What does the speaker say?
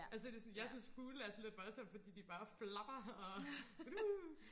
altså det sådan jeg synes fugle er lidt voldssomme fordi de bare flapper og uh